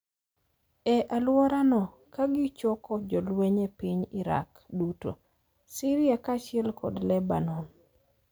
e alworano ka gichoko jolweny e piny Iraq duto, Siria kaachiel kod Lebanon,